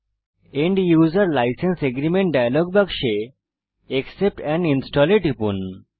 end user license agreement dialog বাক্সে accept and install এ টিপুন